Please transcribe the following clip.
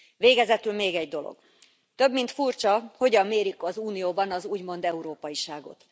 Végezetül még egy dolog több mint furcsa, hogyan mérik az Unióban az úgymond európaiságot.